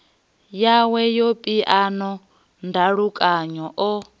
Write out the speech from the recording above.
yawe ya phiano ndalukanyo o